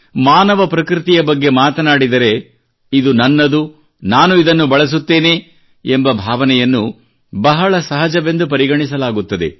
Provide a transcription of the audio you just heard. ಮಾನವ ಪ್ರಕೃತಿಯ ಬಗ್ಗೆ ಮಾತನಾಡಿದರೆ ಇದು ನನ್ನದು ನಾನು ಇದನ್ನು ಬಳಸುತ್ತೇನೆ ಎಂಬ ಭಾವನೆಯನ್ನು ಬಹಳ ಸಹಜವೆಂದು ಪರಿಗಣಿಸಲಾಗುತ್ತದೆ